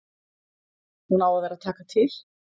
Hún á að vera að taka til.